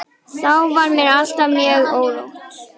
Þá var mér alltaf mjög órótt.